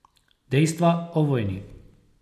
Dejstva o vojni.